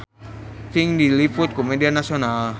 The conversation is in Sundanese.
Pink diliput ku media nasional